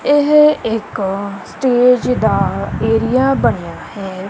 ਇਹ ਇੱਕ ਸਟੇਜ ਦਾ ਏਰੀਆ ਬਣਿਆ ਹੈ।